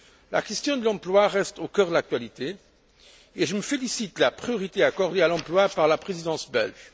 La question de l'emploi reste au cœur de l'actualité, et je me félicite de la priorité accordée à l'emploi par la présidence belge.